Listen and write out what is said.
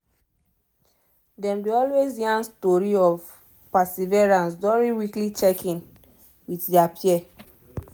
them dey always yarn story of perseverance during weekly check in with their peer